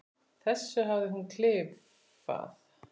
þessu hafði hún klifað.